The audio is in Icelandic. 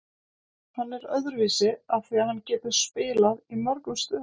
Hann er öðruvísi af því að hann getur spilað í mörgum stöðum.